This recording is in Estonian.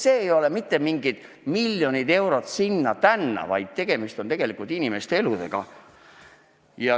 Siin ei ole küsimus miljonite eurode andmises sinna-tänna, vaid tegemist on inimeste eludega.